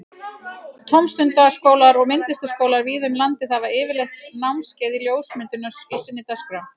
Tómstundaskólar og myndlistaskólar víða um landið hafa yfirleitt námskeið í ljósmyndun í sinni dagskrá.